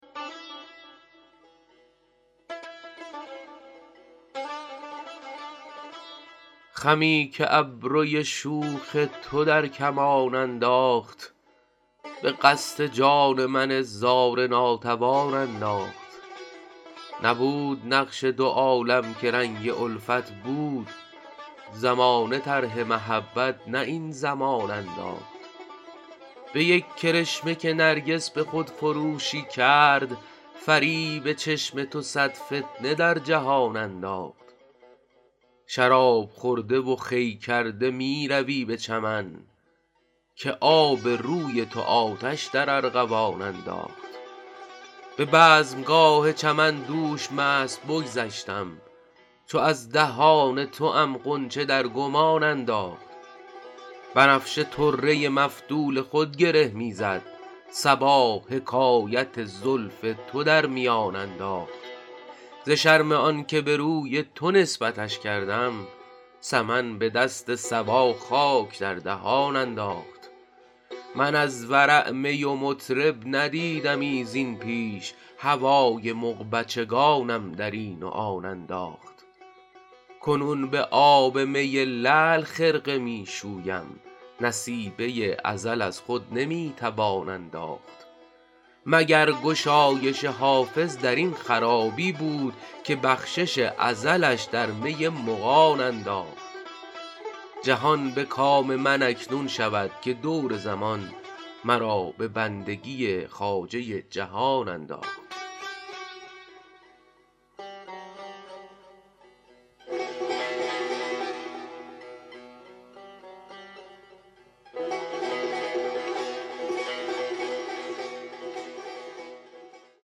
خمی که ابروی شوخ تو در کمان انداخت به قصد جان من زار ناتوان انداخت نبود نقش دو عالم که رنگ الفت بود زمانه طرح محبت نه این زمان انداخت به یک کرشمه که نرگس به خودفروشی کرد فریب چشم تو صد فتنه در جهان انداخت شراب خورده و خوی کرده می روی به چمن که آب روی تو آتش در ارغوان انداخت به بزمگاه چمن دوش مست بگذشتم چو از دهان توام غنچه در گمان انداخت بنفشه طره مفتول خود گره می زد صبا حکایت زلف تو در میان انداخت ز شرم آن که به روی تو نسبتش کردم سمن به دست صبا خاک در دهان انداخت من از ورع می و مطرب ندیدمی زین پیش هوای مغبچگانم در این و آن انداخت کنون به آب می لعل خرقه می شویم نصیبه ازل از خود نمی توان انداخت مگر گشایش حافظ در این خرابی بود که بخشش ازلش در می مغان انداخت جهان به کام من اکنون شود که دور زمان مرا به بندگی خواجه جهان انداخت